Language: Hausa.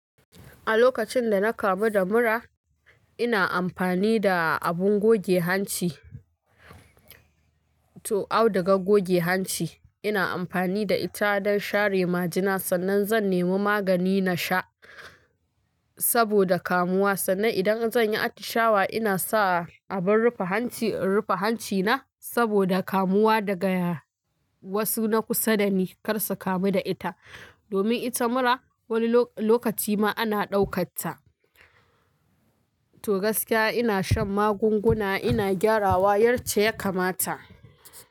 A lokacin da na kamu da mura, ina amfani da abin goge hanci to, audugar goge hanci. Ina amfani da ita don share majina sannan zan nemi magani na sha saboda kamuwa. Sannan idan zan yi atishawa, ina sa abin rufe hanci in rufe hancina saboda kamuwa da ga wasu na kusa dani kar su kamu da ita. Domin ita mura wani lokaci ma ana daukar ta. To gaskiya ina shan magunguna, ina gyarawa yar ce ya kamata.